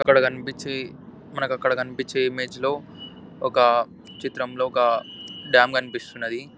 ఇక్కడ కనిపిచ్చి మనకు అక్కడ కనిపించే ఇమేజ్ లో ఒక చిత్రం లో ఒక డాం కనిపిస్తున్నది.